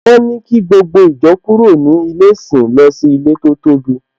Wọ́n ní kí gbogbo ìjọ kúrò ní ilé ìsìn lọ sí ilé tó tóbi